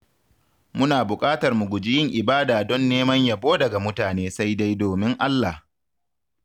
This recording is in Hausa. Muna buƙatar mu guji yin ibada don neman yabo daga mutane sai dai domin Allah.